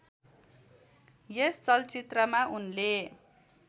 यस चलचित्रमा उनले